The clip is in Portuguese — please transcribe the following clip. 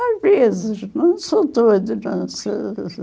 Às vezes, não sou doida, não, sou...